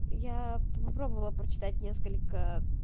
яя попробовала прочитать несколько